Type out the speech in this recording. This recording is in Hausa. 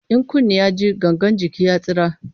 In kunni ya ji, gangan jiki ya tsira.